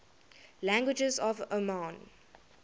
languages of oman